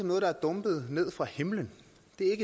noget der er dumpet ned fra himlen